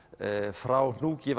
frá hnúk í